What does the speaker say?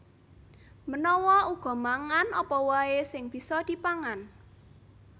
Menawa uga mangan apa waè sing bisa dipangan